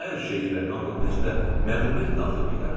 Hər şeyi və hamını necə də məmnuniyyətlə atıb gedərdim.